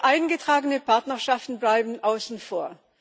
Eingetragene Partnerschaften bleiben außen vor.